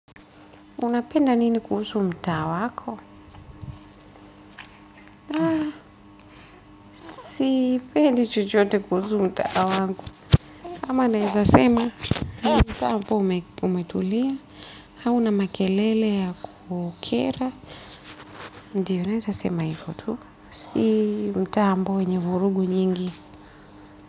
Unapenda nini kuhusu mtaa wako? Sipendi chochote kuhusu mtaa wangu. Ama nawezasema, ni mtaa ambao umetulia. Hauna makelele ya kukera. Ndiyo naweza sema hivo tu. Si mtaa ambao wenye vurugu nyingi.